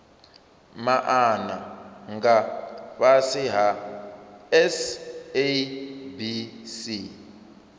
maana nga fhasi ha sabc